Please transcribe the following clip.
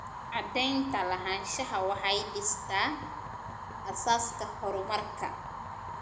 Cadaynta lahaanshaha waxay dhistaa aasaaska horumarka.